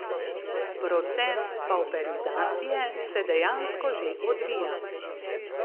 Proces pavperizacije se dejansko že odvija.